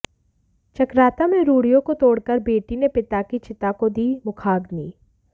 चकराता में रूढ़ियों को तोड़कर बेटी ने पिता की चिता को दी मुखाग्नि